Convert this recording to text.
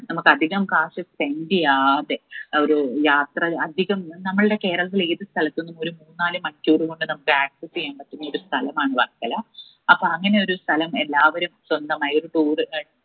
നമ്മുക്ക് അതികം കാശ് spend എയ്യാതെ ഒരു യാത്ര അധികം നമ്മൾടെ കേരളത്തില് ഏത് സ്ഥലത്തിനും ഒരു മൂന്നാല് മണിക്കൂർ കൊണ്ട് നമ്മുക്ക് access എയ്യാൻ പറ്റുന്ന ഒരു സ്ഥലമാണ് വർക്കല അപ്പൊ അങ്ങനെ ഒരു സ്ഥലം എല്ലാവരും സ്വന്തമായൊരു tour